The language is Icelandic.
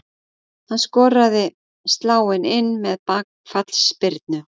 Hann skoraði sláin inn með bakfallsspyrnu.